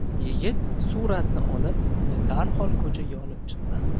Yigit suratni olib, uni darhol ko‘chaga olib chiqqan.